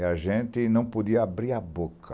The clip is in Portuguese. E a gente não podia abrir a boca.